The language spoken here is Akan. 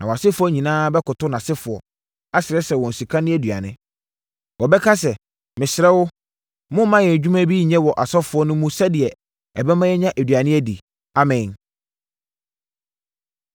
Na wʼasefoɔ nyinaa bɛkoto nʼasefoɔ, asrɛsrɛ wɔn sika ne aduane. Wɔbɛka sɛ, “Mesrɛ mo, momma yɛn nnwuma bi nyɛ wɔ asɔfoɔ no mu sɛdeɛ ɛbɛma yɛanya aduane adi, amee.” ’”